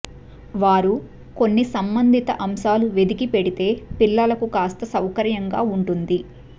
వారు కొన్ని సంబంధిత అంశాలు వెదికి పెడితే పిల్లలకు కాస్త సౌకర్యంగా ఉంటుంది